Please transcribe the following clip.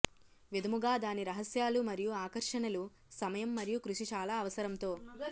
విధముగా దాని రహస్యాలు మరియు ఆకర్షణలు సమయం మరియు కృషి చాలా అవసరం తో